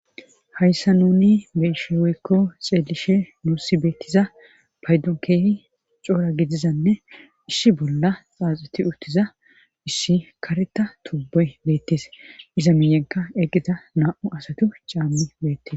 hayssa nuni besheweykko xeelishe muussi beettiza paydon keehi coora gidizanne issi bolla xaaxuti uttiza issi kareta tubbey beettes iza miiyenka eqqita na7u asatu caammi beettes